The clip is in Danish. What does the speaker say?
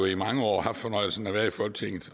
i mange år har haft fornøjelsen af at være i folketinget